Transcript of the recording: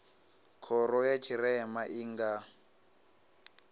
khoro ya tshirema i nga